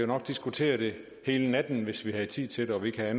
nok diskutere det hele natten hvis vi havde tid til det og ikke havde